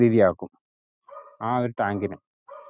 ആക്കും ആ ഒരു tank ഇനെ